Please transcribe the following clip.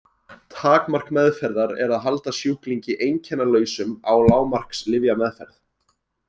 Takmark meðferðar er að halda sjúklingi einkennalausum á lágmarks lyfjameðferð.